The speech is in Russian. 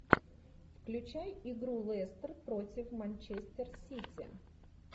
включай игру лестер против манчестер сити